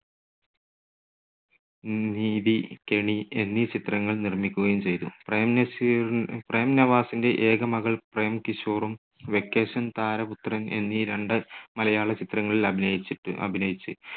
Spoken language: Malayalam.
നീതി, കെണി എന്നീ ചിത്രങ്ങൾ നിർമ്മിക്കുകയും ചെയ്തു. പ്രേം നസീറി പ്രേം നവാസിന്റെ ഏക മകൾ പ്രേം കിഷോറും വെക്കേഷൻ, താരപുത്രൻ എന്നീ രണ്ട് മലയാള ചിത്രങ്ങളിൽ അഭിനയിച്ചിട്ട്, അഭിനയിച്ച്